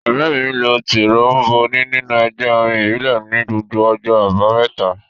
Ọ̀rẹ́ mi lo tíróḿbònì nínú ẹgbẹ́ orin ìbílẹ̀ ní gbogbo ọjọ́ àbámẹ́ta